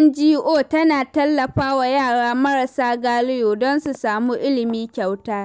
NGO tana tallafa wa yara marasa galihu don su samu ilimi kyauta.